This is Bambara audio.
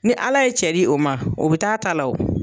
Ni Ala ye cɛ di o ma o bɛ taa a ta la o.